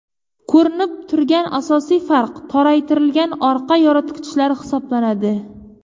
Ko‘rinib turgan asosiy farq toraytirilgan orqa yoritgichlar hisoblanadi.